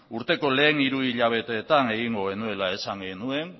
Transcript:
urteko lehen hiru hilabeteetan egingo genuela esan genuen